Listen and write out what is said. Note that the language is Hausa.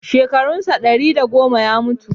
Shekarun sa ɗari da goma ya mutu.